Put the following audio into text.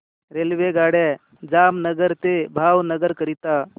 रेल्वेगाड्या जामनगर ते भावनगर करीता